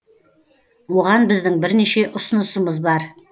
оған біздің бірнеше ұсынысымыз бар